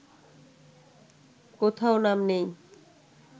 কোথাও নাম নেই